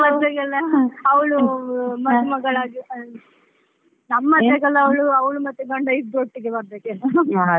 ಅವಳು ಮದುಮಗಳಾಗೇ ನಮ್ ಮದ್ವೆಗೆಲ್ಲಾ ಅವಳು ಮತ್ತೆ ಗಂಡ ಇಬ್ಬರು ಒಟ್ಟಿಗೆ ಬರಬೇಕೋ ಏನೋ .